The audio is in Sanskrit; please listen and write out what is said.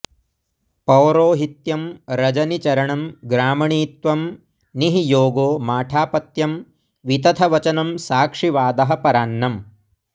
पौरोहित्यं रजनिचरणं ग्रामणीत्वं निः योगो माठापत्यं वितथवचनं साक्षिवादः परान्नम्